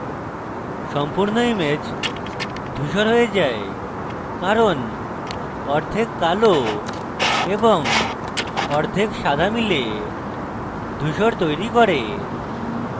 সম্পূর্ণ image ধুসর হয়ে যায় কারণ অর্ধেক কালো এবং অর্ধেক সাদা মিলে ধুসর তৈরী করে